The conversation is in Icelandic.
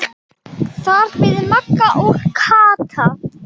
Þar biðu Magga og Kata.